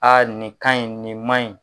nin ka ɲi, nin man ɲi.